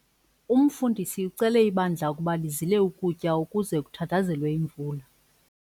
Umfundisi ucele ibandla ukuba lizile ukutya ukuze kuthandazelwe imvula.